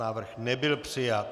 Návrh nebyl přijat.